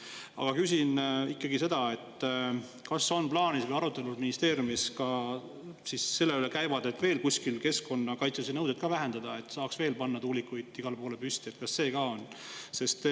Aga küsin ikkagi seda, kas on plaanis või kas ministeeriumis käivad arutelud ka selle üle, et veel kuskil keskkonnakaitselisi nõudeid vähendada, et saaks panna veel tuulikuid igale poole püsti, kas seda on ka?